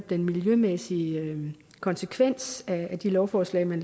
den miljømæssige konsekvens af de lovforslag man